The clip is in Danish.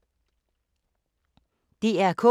DR K